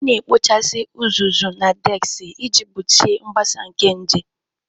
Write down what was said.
A na-ekpochasị uzuzu na deski iji gbochie mgbasa nke nje.